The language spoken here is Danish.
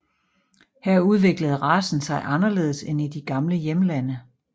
Her udviklede racen sig anderledes end i de gamle hjemlande